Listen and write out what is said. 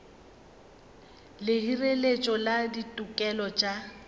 le hireletšo ya ditokelo tša